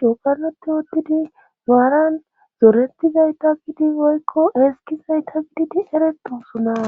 cookaloti wottidi waaran zoretizayta gidi woykko eski zayta gididi eretosuna